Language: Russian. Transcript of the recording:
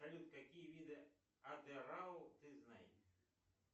салют какие виды атырау ты знаешь